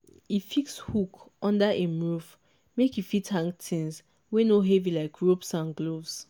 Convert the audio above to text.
e fix hook under im roof make e fit hang things wey no heavy like ropes and gloves.